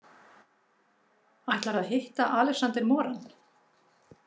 Ætlarðu að hitta Alexander Moran?